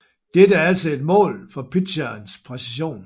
Dette er altså et mål for pitcherens præcision